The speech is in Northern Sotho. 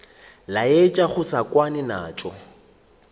laetša go se kwane naso